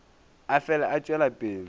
a fele a tšwela pele